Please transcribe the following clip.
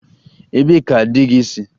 Ebee ka di gị si?